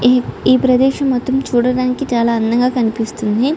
ఈ ఈ ప్రదేశం మొత్తం చూడడానికి చాలా అందంగా కనిపిస్తుంది.